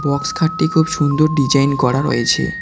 Box খাটটি খুব সুন্দর ডিজাইন করা রয়েছে।